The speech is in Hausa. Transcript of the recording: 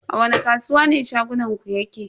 A wani kasuwa ne shagonku yake?